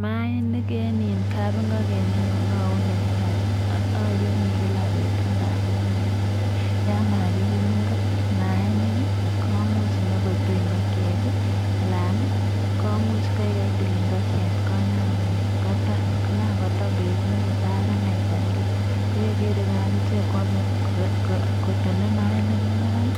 Maainik en iin kapingoken inyun ayumi kila betut ndamun yan makiyum maainik komuch inyokotui ingokiet anan komuch koik idlel ingokiet koton. Kogan koton betut netai konaita kila, ko yeger igo ak ichek koame kotone maainik nigan